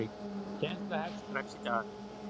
Kennsla hefst strax í dag.